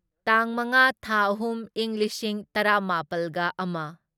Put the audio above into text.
ꯇꯥꯡ ꯃꯉꯥ ꯊꯥ ꯑꯍꯨꯝ ꯢꯪ ꯂꯤꯁꯤꯡ ꯇꯔꯥꯃꯥꯄꯜꯒ ꯑꯃ